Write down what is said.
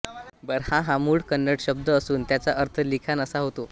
बरहा हा मूळ कन्नड शब्द असून त्याचा अर्थ लिखाण असा होतो